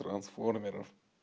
трансформеров